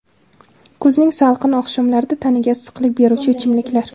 Kuzning salqin oqshomlarida tanaga issiqlik beruvchi ichimliklar.